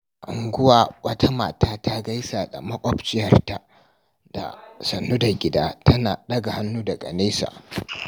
A unguwa, wata mata ta gaisa da maƙwabciyarta da "Sannu da gida" tana ɗaga hannu daga nesa.